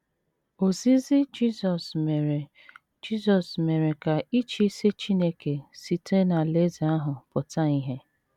Ozizi Jisọs mere Jisọs mere ka ịchịisi Chineke site n’Alaeze ahụ pụta ìhè